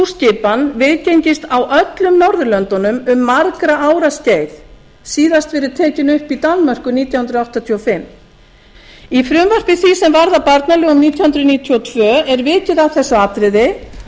skipan viðgengist á öllum norðurlöndunum um margra ára skeið síðast verið tekin upp í danmörku nítján hundruð áttatíu og fimm í frumvarpi því sem varðar barnalög um nítján hundruð níutíu og tvö er vikið að þessu atriði og nefnt